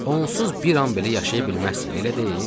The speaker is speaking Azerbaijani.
Onsuz bir an belə yaşaya bilməzsən, elə deyil?